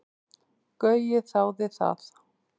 Gaui þáði það.